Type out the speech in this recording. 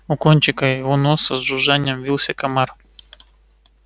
у кончика его носа с жужжанием вился комар